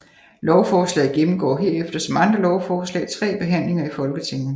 Lovforslaget gennemgår herefter som andre lovforslag tre behandlinger i Folketinget